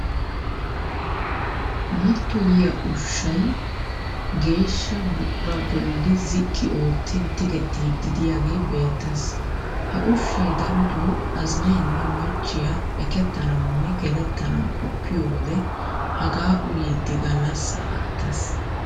Mattoyiya ushahay geeshsha buqura bolli ziqqi oottin tigettiiddi diyagee beettes. Ha ushshay darotoo azinaynne machchiya ekkettanawunne gelettanaw qoppiyo wode hagaa uyiiddi gallassaa aattes.